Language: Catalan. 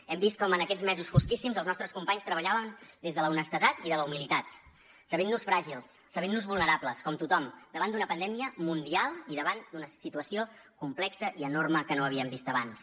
hem vist com en aquests mesos fosquíssims els nostres companys treballaven des de l’honestedat i de la humilitat sabent nos fràgils sabent nos vulnerables com tothom davant d’una pandèmia mundial i davant d’una situació complexa i enorme que no havíem vist abans